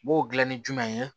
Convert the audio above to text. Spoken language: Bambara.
N b'o gilan ni jumɛn ye